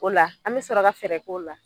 O la an me sɔrɔ ka fɛrɛ k'o la